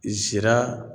Zira